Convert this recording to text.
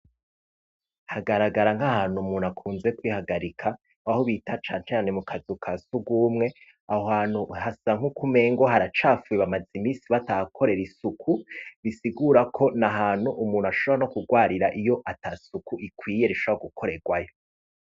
Hagaragara nk'ahantu umuntu akunze kwihagarika, aho bita canecane mu kazu ka sugumwe. Aho hantu hasa nk'ukumengo haracafuye bamaze imisi batakorera isuku bisigura ko ni ahantu umuntu ashobora no kugwarira iyo ata suku ikwiye ishobora gukorerwayo.